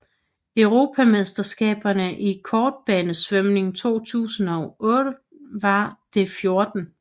Europamesterskaberne i kortbanesvømning 2008 var det 14